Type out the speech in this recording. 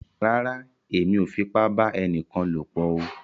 Rárá, Èmí o fipa ba ẹnìkan lopọ o